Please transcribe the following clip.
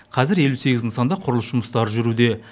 қазір елу сегіз нысанда құрылыс жұмыстары жүргізілуде